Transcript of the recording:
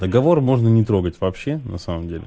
договор можно не трогать вообще на самом деле